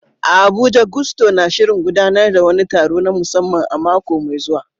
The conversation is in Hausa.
A Abuja, Gusto na shirin gudanar da wani taro na musamman a mako mai zuwa.